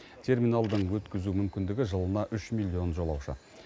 терминалдың өткізу мүмкіндігі жылына үш миллион жолаушы